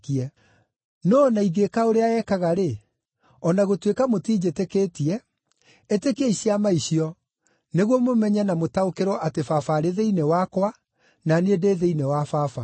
No o na ingĩĩka ũrĩa ekaga-rĩ, o na gũtuĩka mũtinjĩtĩkĩtie, ĩtĩkiai ciama icio, nĩguo mũmenye na mũtaũkĩrwo atĩ Baba arĩ thĩinĩ wakwa, na niĩ ndĩ thĩinĩ wa Baba.”